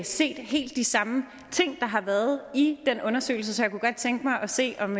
set helt de samme ting der har været i den undersøgelse så jeg kunne godt tænke mig at se om